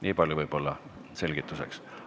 Niipalju võib-olla selgituseks.